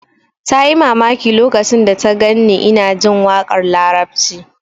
Ta yi mamaki lokacin da ta gan ni ina jin waƙar larabci